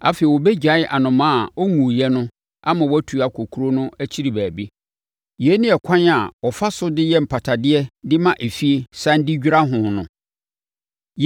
Afei, ɔbɛgyae anomaa a ɔnwuiɛ no ama watu akɔ kuro no akyi baabi. Yei ne ɛkwan a wɔfa so de yɛ mpatadeɛ de ma efie sane de dwira ho no.”